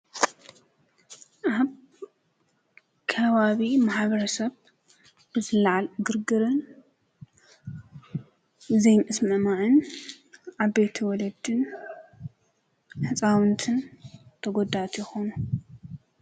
ኣብ ከባቢ ማሕበረሰብ ብዝለዓል ግርግርን ዘይ ምስምዕማዕን ዓበይቲ ወለድን ህፃዉንትን ተጉዳእቲ ይኮኑ።